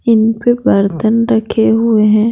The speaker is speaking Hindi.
इन पे बर्तन रखे हुए हैं।